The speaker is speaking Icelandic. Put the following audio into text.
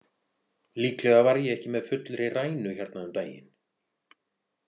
Líklega var ég ekki með fullri rænu hérna um daginn.